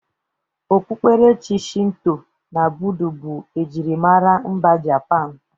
Okpukperechi Shinto na Bụda bụ ejirimara mba Japan.